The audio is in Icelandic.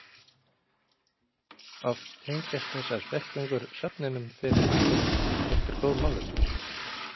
Oft tengjast þessar fjallgöngur söfnunum fyrir einhver góð málefni.